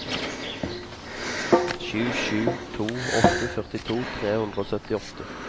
sju sju to åtte førtito tre hundre og syttiåtte